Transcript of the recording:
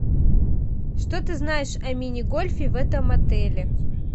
что ты знаешь о мини гольфе в этом отеле